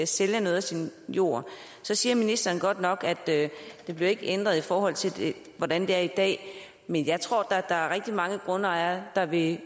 sælge noget af sin jord så siger ministeren godt nok at der ikke bliver ændret i forhold til hvordan det er i dag men jeg tror da at der er rigtig mange grundejere der vil